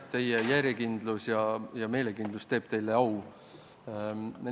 Teie järjekindlus ja meelekindlus teeb teile au!